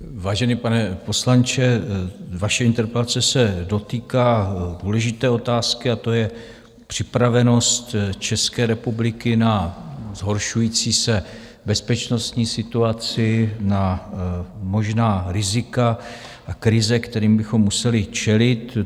Vážený pane poslanče, vaše interpelace se dotýká důležité otázky a tou je připravenost České republiky na zhoršující se bezpečnostní situaci, na možná rizika a krize, kterým bychom museli čelit.